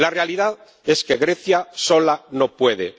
La realidad es que Grecia sola no puede.